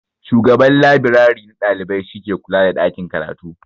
Shugaban labrari na ɗalibai shi ke kula da ɗakin karatu.